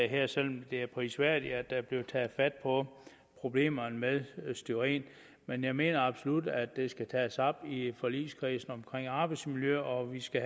her selv om det er prisværdigt at der er blevet taget fat på problemerne med styren men jeg mener absolut at det skal tages op i forligskredsen omkring arbejdsmiljø og at vi skal